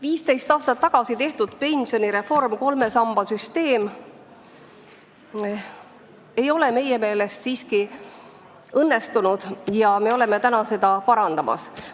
15 aastat tagasi tehtud pensionireform, kolme samba süsteem, ei ole meie meelest siiski õnnestunud ja me oleme täna seda parandamas.